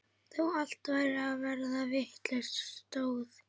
Þó allt væri að verða vitlaust stóð